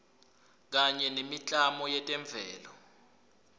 kanye nemiklamo yetemvelo